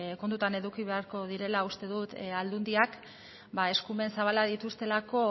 kontutan eduki behar direla uste dut aldundiak eskumen zabalak dituztelako